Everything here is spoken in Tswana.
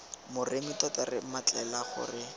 moremi tota re mmatlela gore